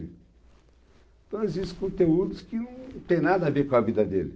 Então existem conteúdos que não têm nada a ver com a vida dele.